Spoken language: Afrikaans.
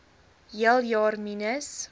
hele jaar minus